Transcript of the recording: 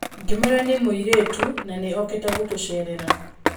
Ngĩmwĩra nĩ mũirĩtu na nĩ okĩte gũtũceerera.